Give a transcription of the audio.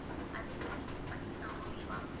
அதே நீங்க use பண்ணிக்கலாம். okay வா?